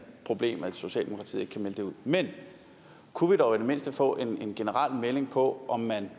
problem at socialdemokratiet ikke kan melde det ud men kunne vi dog i det mindste få en generel melding på om man